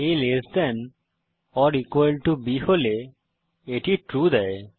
a less than or equal to b হলে এটি true দেয়